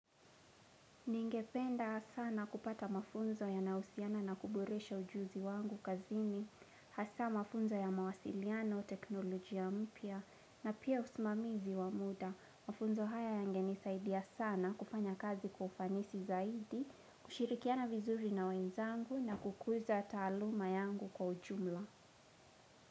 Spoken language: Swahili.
Ningependa sana kupata mafunzo yanao husiana na kuboresha ujuzi wangu kazini, hasa mafunzo ya mawasiliano, teknolojia mpya na pia usimamizi wa muda. Mafunzo haya yangenisaidia sana kufanya kazi kwa ufanisi zaidi, kushirikiana vizuri na wenzangu na kukuza taluma yangu kwa ujumla.